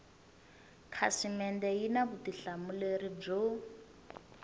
khasimende yi na vutihlamuleri byo